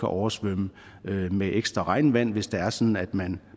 oversvømme med ekstra regnvand hvis det er sådan at man